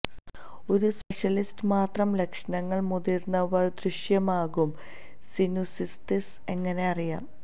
ഒരു സ്പെഷ്യലിസ്റ്റ് മാത്രം ലക്ഷണങ്ങൾ മുതിർന്നവർ ദൃശ്യമാകും സിനുസിതിസ് എങ്ങനെ അറിയാം